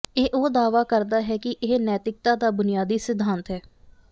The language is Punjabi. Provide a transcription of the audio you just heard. ਇਹ ਉਹ ਦਾਅਵਾ ਕਰਦਾ ਹੈ ਕਿ ਇਹ ਨੈਤਿਕਤਾ ਦਾ ਬੁਨਿਆਦੀ ਸਿਧਾਂਤ ਹੈ